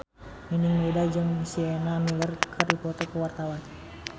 Nining Meida jeung Sienna Miller keur dipoto ku wartawan